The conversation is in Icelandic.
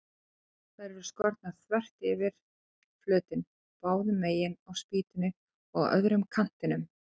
Þær eru skornar þvert yfir flötinn, báðu megin á spýtunni og á öðrum kantinum.